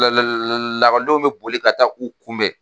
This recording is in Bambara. lakɔlidenw bɛ boli ka taa u kunbɛn